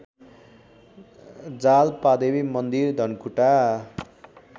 जालपादेवी मन्दिर धनकुटा